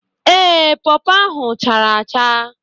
Ee, pawpaw ahụ chara acha